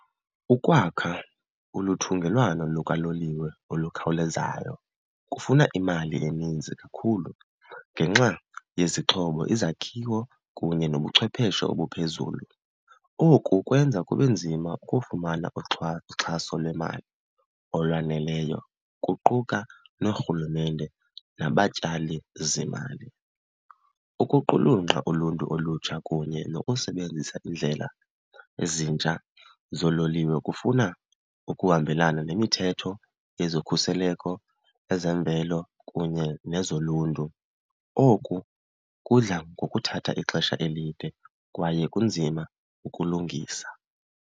Ukwakha olu thungelwano lukaloliwe olukhawulezayo kufuna imali eninzi kakhulu ngenxa yezixhobo, izakhiwo kunye nobuchwepheshe obuphezulu. Oku kwenza kube nzima ukufumana uxhaso lwemali olwaneleyo, kuquka noorhulumente nabatyalizimali. Ukuqulunqa uluntu olutsha kunye nokusebenzisa iindlela ezintsha zoololiwe kufuna ukuhambelana nemithetho yezokhuseleko, ezemvelo kunye nezoluntu. Oku kudla ngokuthatha ixesha elide kwaye kunzima ukulungisa.